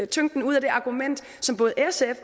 tyngden ud af det argument som både sf